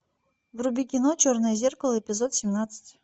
вруби кино черное зеркало эпизод семнадцать